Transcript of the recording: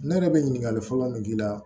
Ne yɛrɛ bɛ ɲininkali fɔlɔ min k'i la